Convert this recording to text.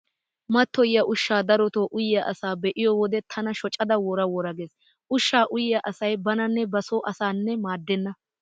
Mattoyiya ushshaa darotoo uyiya asaa be'iyo wode tana shocada wora wora gees. Ushshaa uyiya asai bananne ba soo asaanne maaddenna.